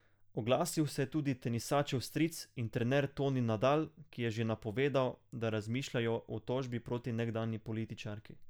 Oglasil se je tudi tenisačev stric in trener Toni Nadal, ki je že napovedal, da razmišljajo o tožbi proti nekdanji političarki.